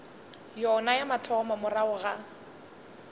yona ya mathomo morago ga